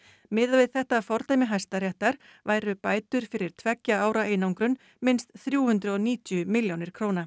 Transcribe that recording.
miðað við þetta fordæmi Hæstaréttar væru bætur fyrir tveggja ára einangrun minnst þrjú hundruð og níutíu milljónir króna